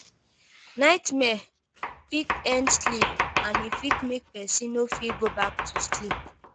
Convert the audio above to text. Nightmare fit end sleep and e fit make person no fit go back to sleep